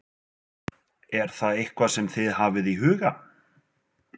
Er það eitthvað sem þið hafið í huga?